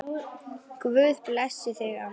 Guð blessi þig, amma.